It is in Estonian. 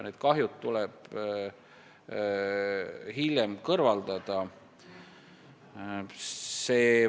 Need kahjud tuleb hiljem kõrvaldada.